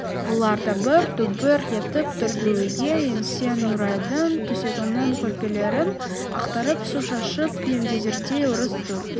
бұлар дабыр-дұбыр етіп төргі үйге енсе нұрайдың төсегінің көрпелерін ақтарып су шашып еңгезердей орыс тұр